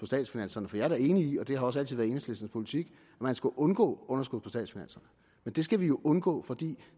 statsfinanserne for jeg er da enig i og det har også altid været enhedslistens politik at man skal undgå underskud på statsfinanserne men det skal vi jo undgå fordi